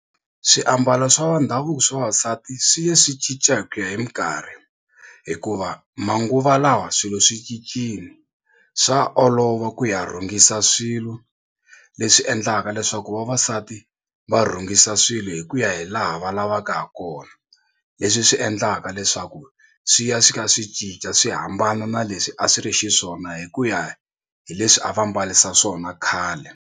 Swiambalo swa va ndhavuko swa vavasati swi ya swi cinca hi ku ya hi mikarhi hikuva manguva lawa swilo swicicile swa olova ku ya rhungisa swilo leswi endlaka leswaku vavasati va rhungisa swilo hi ku ya hi laha va lavaka ha kona leswi swi endlaka leswaku swi ya swi kha swi cinca swi hambana na leswi a swi ri xiswona hi ku ya hi leswi a va mbarisa swona khale.